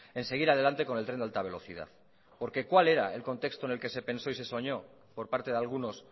en seguir adelante con el tren de alta velocidad porque cuál era el contexto en el que se pensó y se soñó por parte de algunos